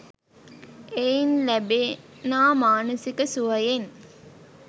එයින් ලෑබෙනා මානසික සුවයෙන්